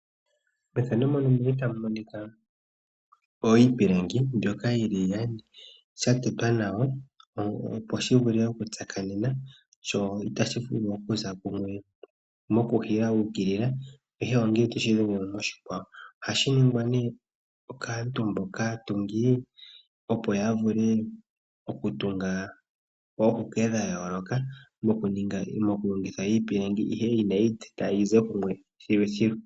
Iipilangi mbyoka yili iyali ya tetwa nawa, opo shi vule okutsakanena. Ihashi vulu okuza kumwe mohuke ya ukilila ihe ongele toshi dhengele moshikwawo. Ohashi ningwa kaantu mboka haya tungu, opo ya vule okutunga oohuke dha yooloka, moku longitha iipilangi, ihe inayi idhita yize kumwe thiluthilu.